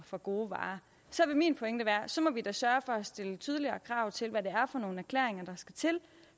for gode varer så min pointe vil være at så må vi da sørge for at stille tydeligere krav til hvad det er for nogle erklæringer der skal til